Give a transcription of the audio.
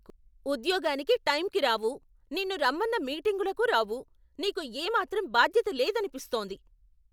ఉద్యోగానికి టైంకి రావు, నిన్ను రమ్మన్న మీటింగులకు రావు! నీకు ఏమాత్రం బాధ్యత లేదనిపిస్తోంది.